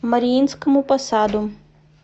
мариинскому посаду